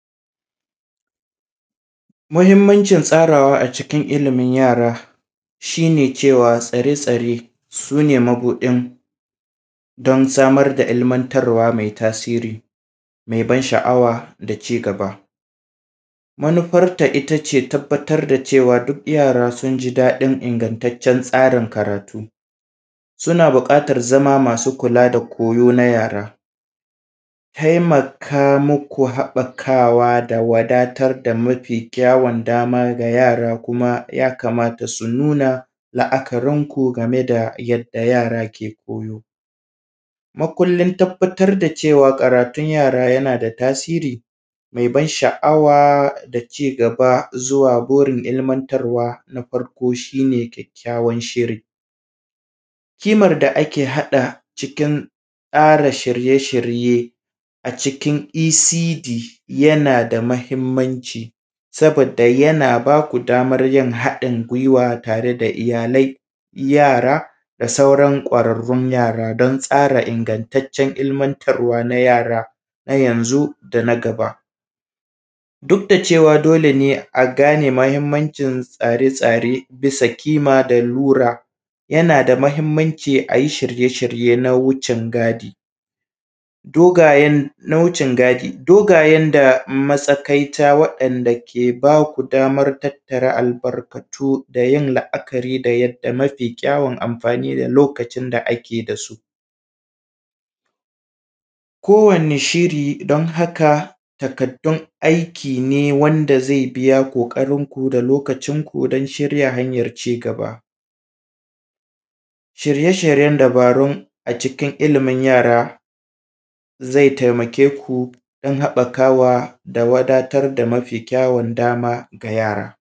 Muhimmancin tsarawa a cikin ilimin yara, shi ne cewa tsare-tsare su ne mabuɗin don samar da ilmantarwa mai tasiri, mai ban sha’awa da ci gaba. Manufarta ita ce tabbatar da cewa duk yara sun ji daɗin ingantaccen tsarin karatu. Suna buƙatar zama masu kula da koyo na yara. Taimaka muku haɓakawa da wadatar da mafi kyawun dama ga yara, kuma ya kamata su nuna la’akarinku game da yadda yara ke koyo. Makullin tabbatar da cewa karatun yara yana da tasiri mai ban sha’awa da ci gaba zuwa burin ilmantarwa, na farko shi ne kyakkyawan shiri. Kimar da ake haɗa cikin tsara shirye-shirye a cikin ECD yana da muhimmanci saboda yana ba ku damar yin haɗin gwiwa tare da iyalai, yara da sauran ƙwararrun yara don tsara ingantaccen ilmantarwa na yara, na yanzu da na gaba. Duk da cewa dole ne a gane muhimmancin tsare-tsare bisa kima da lura, yana da muhimmanci a yi shirye-shirye na wucin gadi. Dogayen da matsakaita waɗanda ke ba ku damar tattare albarkatu da yin la’akari da yadda mafi kyawun amfani da lokacin da ake da su. Kowanne shiri don haka, takardun aiki ne wanda zai biya ƙoƙarinku da lokacinku don shirya hanyar ci gaba. Shirye-shiryen dabarun a cikin ilimin yara, zai taimake ku don haɓakawa da wadatar da mafi kyawun dama ga yara.